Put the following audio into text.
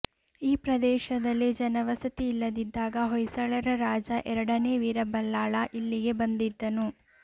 ಈ ಪ್ರದೇಶದಲ್ಲಿ ಜನವಸತಿ ಇಲ್ಲದಿದ್ದಾಗ ಹೊಯ್ಸಳರ ರಾಜ ಎರಡನೇ ವೀರಬಲ್ಲಾಳ ಇಲ್ಲಿಗೆ ಬಂದಿದ್ದನು